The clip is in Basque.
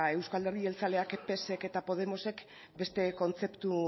euzko alderdi jeltzaleak psek eta podemosek beste kontzeptu